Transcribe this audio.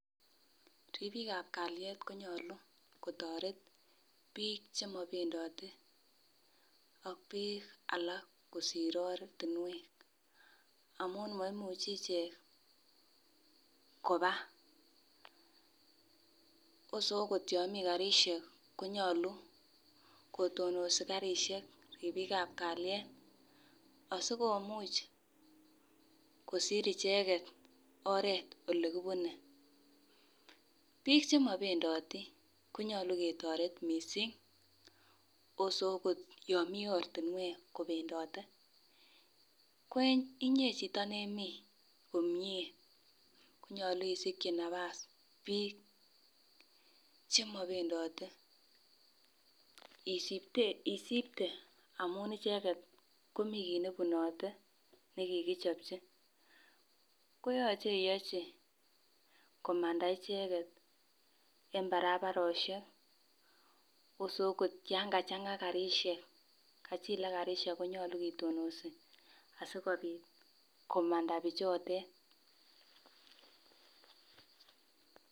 Ribiik ab kalyet konyolu kotoret biik chemobendote ak biik alak kosir ortinwek amun moimuchi ichek koba wose akot yon mi karisiek konyolu kotononsi karisiek ribiik ab kalyet asikomuch kosir icheket oret elekibune. Biik chemobendoti konyolu ketoret missing wose okot yon mii ortinwek kobendote ko inyee chito nemii komie konyolu isikyi nafas biik chemobendote isipte amun icheket komii kit nebunote nekikichopchi koyoche iyochi komanda icheket en barabarosiek wose okot yan kachang'a rapisiek kachilak karisiek konyolu kitononsi asikobit komanda bichotet.